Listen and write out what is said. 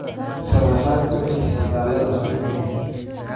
sharaxaad ka bixi taalada xoriyada